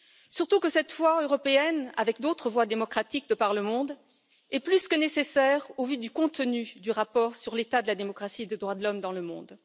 Surtout que cette voix européenne, avec d'autres voix démocratiques de par le monde, est plus que nécessaire au vu du contenu du rapport sur l'état de la démocratie et des droits de l'homme dans le monde.